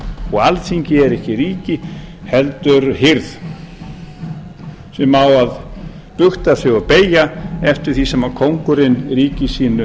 og alþingi er ekki ríki heldur hirð sem á að bugta sig og beygja eftir því sem kóngurinn í ríki sínu